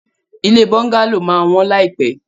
Ilé bọ́ńgálò máa wọ́n láìpẹ́.